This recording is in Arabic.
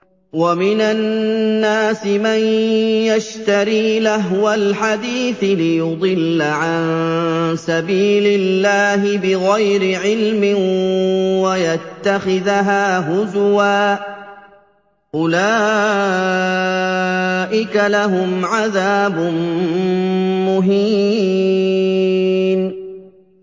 وَمِنَ النَّاسِ مَن يَشْتَرِي لَهْوَ الْحَدِيثِ لِيُضِلَّ عَن سَبِيلِ اللَّهِ بِغَيْرِ عِلْمٍ وَيَتَّخِذَهَا هُزُوًا ۚ أُولَٰئِكَ لَهُمْ عَذَابٌ مُّهِينٌ